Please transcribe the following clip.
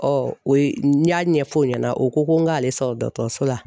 o ye n y'a ɲɛfɔ o ɲɛna o ko ko n k'ale san dɔgɔtɔrɔso la